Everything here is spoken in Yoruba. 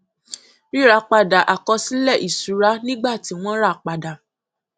ríra padà àkọsílẹ ìṣúra nígbà tí wọn ràpadà